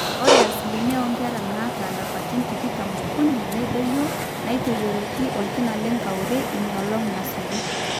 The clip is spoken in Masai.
ore asilimia oonkera naata ilapaitin tikitam ookuni nedoyio naaitotiyioki orkina lenkauri inoolong nasuju